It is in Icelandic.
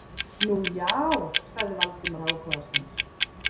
Nú, já- sagði Valdimar áhugasamur.